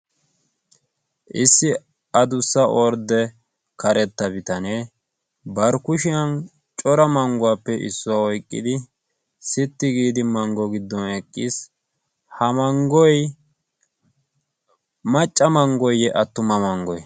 issi adussa ordde karetta bitanee barkkushiyan cora mangguwaappe issuwaa oiqqidi sitti giidi manggo giddon eqqiis animacca manggoyye attuma manggoi